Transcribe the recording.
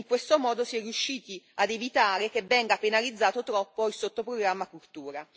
In questo modo si è riusciti ad evitare che venga penalizzato troppo il sottoprogramma Cultura.